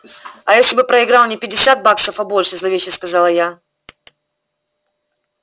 а если бы проиграл не пятьдесят баксов а больше зловеще сказала я